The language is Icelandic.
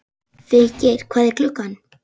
Feykir, hvað er klukkan?